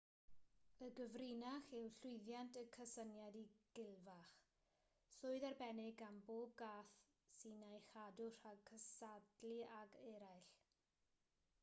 y gyfrinach i'w llwyddiant yw cysyniad y gilfach swydd arbennig gan bob cath sy'n ei chadw rhag cystadlu ag eraill